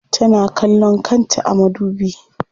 Tana kallon kanta a madubi.